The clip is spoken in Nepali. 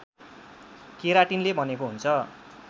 केराटिनले बनेको हुन्छ